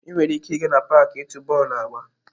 Ị nwere ike ịga n'paaki ịtu bọọlụ agba.